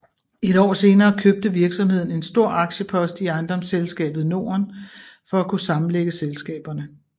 Et år senere købte virksomheden en stor aktiepost i Ejendomsselskabet Norden for at kunne sammenlægge selskaberne